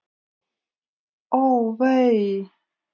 Ó, vei!